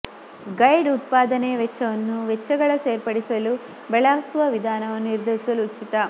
guide ಉತ್ಪಾದನೆಯ ವೆಚ್ಚವನ್ನು ವೆಚ್ಚಗಳ ಸೇರ್ಪಡಿಸಲು ಬಳಸಲು ವಿಧಾನವನ್ನು ನಿರ್ಧರಿಸಲು ಉಚಿತ